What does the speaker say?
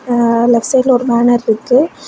ஆஆ left சைடுல ஒரு banner இருக்கு.